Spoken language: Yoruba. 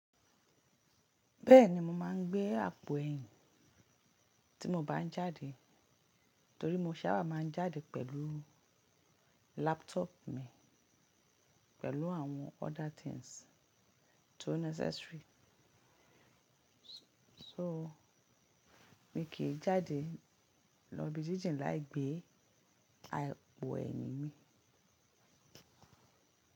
Bẹ́ẹ̀ni mo máa ń gbé àpò ẹ̀yìn tí mo bá ń jáde, torí mo sábà máa ń jáde pẹ̀lú laptop mi, pẹ̀lú àwọn other things tó necessary. So mi kì í jáde lọ ibi jijin láì gbé àpò ẹ̀yìn mì.